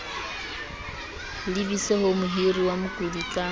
lebiswe ho mohiriwa mokodi ka